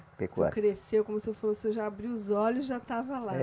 Pecuária. O senhor cresceu, como o senhor falou, o senhor já abriu os olhos e já estava lá.